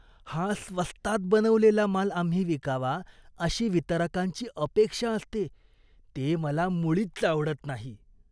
हा स्वस्तात बनवलेला माल आम्ही विकावा अशी वितरकांची अपेक्षा असते ते मला मुळीच आवडत नाही.